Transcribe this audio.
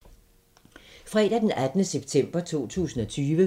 Fredag d. 18. september 2020